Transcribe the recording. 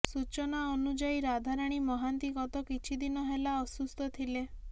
ସୂଚନା ଅନୁଯାୟୀ ରାଧାରାଣୀ ମହାନ୍ତି ଗତ କିଛି ଦିନ ହେଲା ଅସୁସ୍ଥ ଥିଲେ